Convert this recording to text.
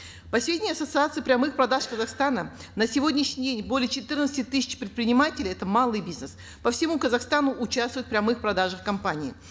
по сведениям ассоциации прямых продаж казахстана на сегодняшний день более четырнадцати тысяч предпринимателей это малый бизнес по всему казахстану участвуют в прямых продажах компаний